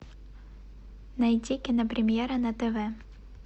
найти кинопремьера на тв